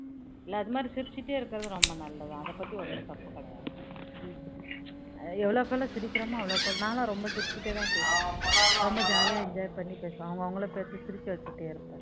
இல்ல அந்த மாதிரி சிரிச்சிகிட்டே இருக்கிறதும் ரொம்ப நல்லது தான் அதை பற்றி ஒன்னும் தப்பு கிடையாது எவ்ளோக்கு எவ்ளோ சிரிக்கிறோமோ அவ்ளோக்கு அவ்ளோ நாலாம் ரொம்ப சிரிச்சிட்டே தான் பேசுவேன் ரொம்ப jolly யா enjoy பண்ணி பேசுவேன் அவனக அவங்கள போயிட்டு சிரிக்க வச்சிட்டே இருப்பேன்